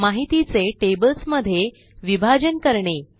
माहितीचे टेबल्स मध्ये विभाजन करणे